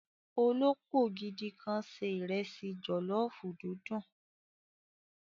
Olópò gidi kan sé ìrẹsì jòlọ́fù dundun.